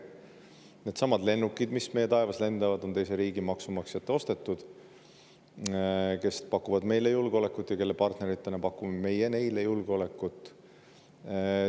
Needsamad lennukid, mis meie taevas lendavad, on ostnud teise riigi maksumaksjad, kes pakuvad meile julgeolekut ja kelle partneritena pakume meie neile julgeolekut.